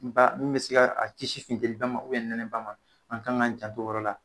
N ba min be se k'a cisi futɛliba ma ubiyɛn nɛnɛba ma an ka k'an janto o yɔrɔ la